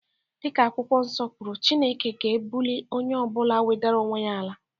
Dịka akwụkwọ nso kwuru, Chineke ga-ebulie onye ọ bụla nwedera onwe ya ala.